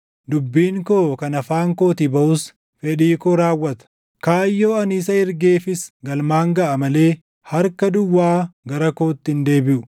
dubbiin koo kan afaan kootii baʼus fedhii koo raawwata; kaayyoo ani isa ergeefis galmaan gaʼa malee harka duwwaa gara kootti hin deebiʼu.